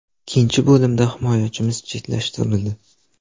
Ikkinchi bo‘limda himoyachimiz chetlashtirildi.